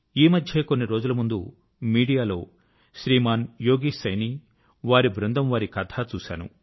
ఈ మధ్యే కొన్ని రోజుల ముందు మీడియా లో శ్రీమాన్ యోగేశ్ సైనీ వారి బృందం వారి కథ చూశాను